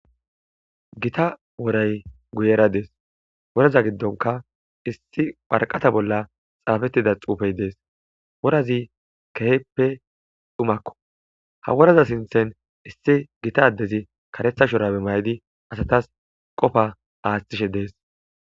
Gita woray guyera dees woraza giddonka issi parqata bolla xaafettida xuufey dees worazi keheppe dhumakko ha woraza sinthen issi gita ddezi karetha shorabe maydi asatas qofa aashtishe dees.